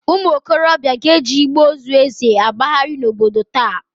Ụmụokorobịa ga-eji igbe ozu Eze agbagharị n'obodo taa.